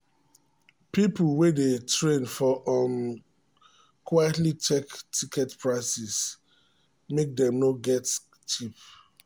people wey dey train for um train quietly check ticket prices make dem no get cheat.